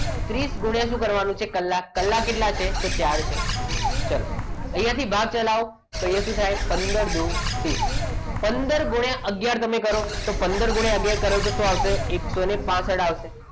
ત્રીસ ગુણિયાં શું કરવાનું છે કલાક. તો કલાક કેટલા છે તો ચાર છે ચાલો અહીંયા થી ભાગ કરો તો અહીંયા થી ભાગ થાય પંદર દુ ત્રીસ પંદર ગુણ્યા અગિયાર તમે કરો તો પંદર ગુણ્યા અગિયાર કરો તો શું આવશે એકસો પાંસઠ આવશે.